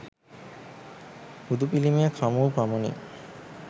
බුදු පිළිමයක් හමුවූ පමණින්